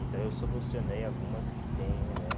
Então, eu solucionei algumas que tem, né?